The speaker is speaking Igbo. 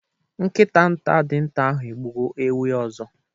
Nkita nta dịnta ahụ egbugo ewi ọzọ.